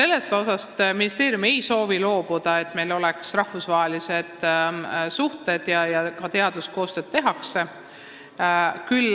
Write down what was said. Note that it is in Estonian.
Nii et ministeerium ei soovi loobuda sellest, et meil oleksid rahvusvahelised suhted ja ka teaduskoostöö.